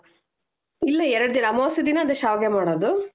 ಇಲ್ಲಾ ಎರಡ್ ದಿನ ಅಮಾವಾಸ್ಯೆ ದಿನ ಅದೇ ಶ್ಯಾವಿಗೆ ಮಾಡೋದು .